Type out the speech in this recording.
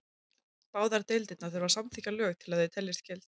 Báðar deildirnar þurfa að samþykkja lög til að þau teljist gild.